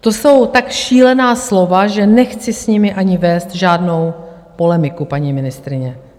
To jsou tak šílená slova, že nechci s nimi ani vést žádnou polemiku, paní ministryně.